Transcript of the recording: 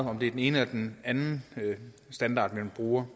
om det er den ene eller den anden standard man bruger